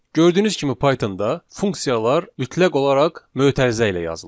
Gördüyünüz kimi Pythonda funksiyalar mütləq olaraq mötərizə ilə yazılır.